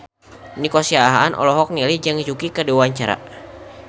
Nico Siahaan olohok ningali Zhang Yuqi keur diwawancara